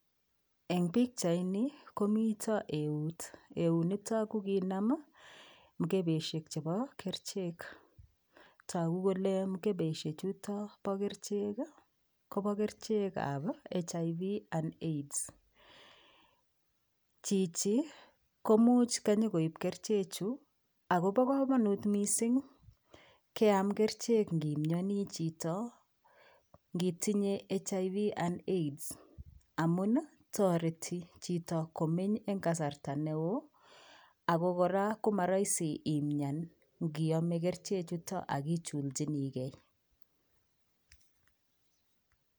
En bichait niton koniton eut ,eut niton kokinam mkebeshek chebo kerchek tako Kole mkebeishek Chito Na kerchek Koba kerchek ab HIV and AIDS Chichi komuch konyongoip kerchek Chu akobo kamanut mising keyam kerchenkn imnyani Chito ngitinye HIV and AIDS amun tareti Chito kemy en kasarta neoub akokoraa komarahisi imyan niyame kerchek chuton akichulchinigei